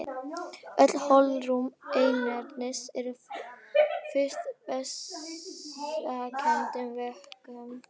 Öll holrúm inneyrans eru fyllt vessakenndum vökvum.